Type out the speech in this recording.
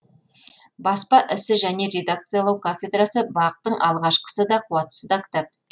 баспа ісі және редакциялау кафедрасы бақ тың алғашқысы да қуаттысы да кітап